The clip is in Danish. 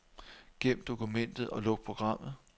Gem dokumentet og luk programmet.